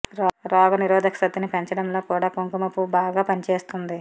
రోగ నిరోధక శక్తిని పెంచడంలో కూడా కుంకుమ పువ్వు బాగా పని చేస్తుంది